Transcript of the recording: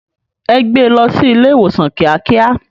È gbé lò si ilé iwósán kiákiá